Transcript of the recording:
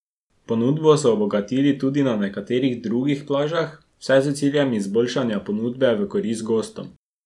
Ponudbo so obogatili tudi na nekaterih drugih plažah, vse s ciljem izboljšanja ponudbe v korist gostom.